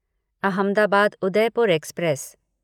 Ahmedabad Udaipur express